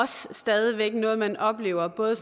stadig væk noget man oplever både